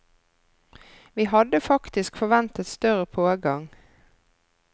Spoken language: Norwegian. Vi hadde faktisk forventet større pågang.